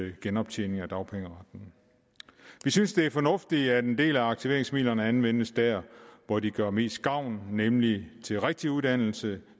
i genoptjening af dagpengeretten vi synes det er fornuftigt at en del af aktiveringsmidlerne anvendes der hvor de gør mest gavn nemlig til rigtig uddannelse